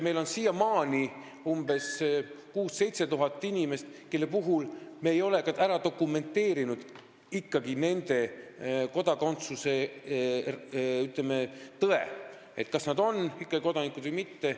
Meil on siiamaani umbes 6000–7000 inimest, kelle puhul me ei ole n-ö kodakondsuse tõde ära dokumenteerinud, st kas nad on kodanikud või mitte.